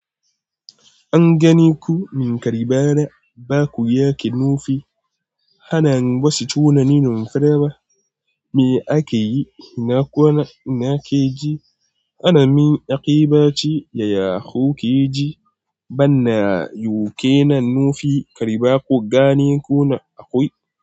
An gani ku min kariba na, ba ku yake nufi. Hana wasu tunanin fure ba. Me ake yi? Ina kwana, ina ke ji? Hana min yaƙi ba ce ya ya hau keji. Bana yau ke nan nufi kariba ku gani kuna akwai.